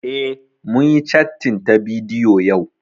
Eh, mun yi cattin ta bidiyo yau